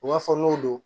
U b'a fɔ n'o don